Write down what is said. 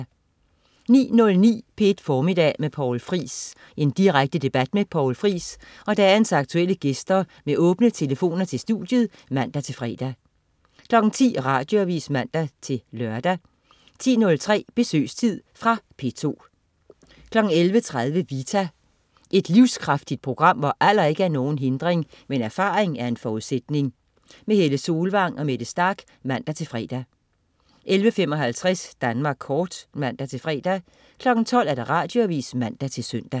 09.09 P1 Formiddag med Poul Friis. Direkte debat med Poul Friis og dagens aktuelle gæster med åbne telefoner til studiet (man-fre) 10.00 Radioavis (man-lør) 10.03 Besøgstid. Fra P2 11.30 Vita. Et livskraftigt program, hvor alder ikke er nogen hindring, men erfaring en forudsætning. Helle Solvang og Mette Starch (man-fre) 11.55 Danmark Kort (man-fre) 12.00 Radioavis (man-søn)